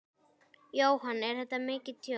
Jóhann: Er þetta mikið tjón?